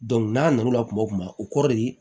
n'a na n'o la kuma o kuma o kɔrɔ de